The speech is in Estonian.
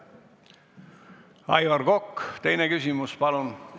Aivar Kokk, teine küsimus, palun!